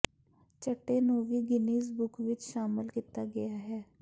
ਚੱਟੇ ਨੂੰ ਵੀ Guinness book ਵਿੱਚ ਸ਼ਾਮਲ ਕੀਤਾ ਗਿਆ ਹੈ